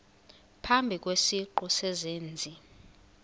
phambi kwesiqu sezenzi